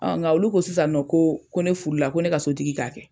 Ɔn nga olu ko sisan nɔ ko ko ne furula la ko ne ka sotigi ka kɛ.